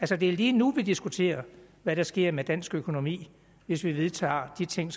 det er lige nu vi diskuterer hvad der sker med dansk økonomi hvis vi vedtager de ting